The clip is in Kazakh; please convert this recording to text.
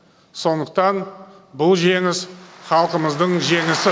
сондықтан бұл жеңіс халқымыздың жеңісі